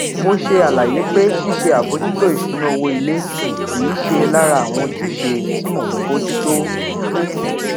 mo ṣe àlàyé pé ṣíṣe àbòjútó ìṣúná owó ilé kì í ṣe lára àwọn ojúṣe tí mò ń bójú tó